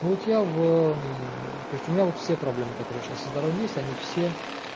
вот я в то есть у меня вот все проблемы которые сейчас со здоровьем есть они все